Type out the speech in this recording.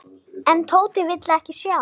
En Tóti vildi ekki sjá.